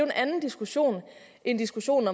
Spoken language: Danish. en anden diskussion end diskussionen